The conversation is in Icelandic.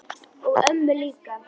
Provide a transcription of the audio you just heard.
og ömmu líka.